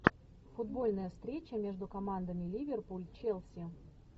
футбольная встреча между командами ливерпуль челси